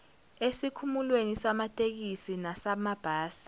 esikhumulweni samatekisi nesamabhasi